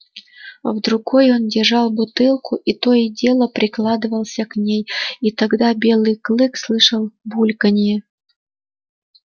в другой он держал бутылку и то и дело прикладывался к ней и тогда белый клык слышал бульканье